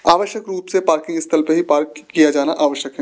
आवश्यक रूप से पार्किंग स्थल पे ही पार्क किया जाना आवश्यक हैं।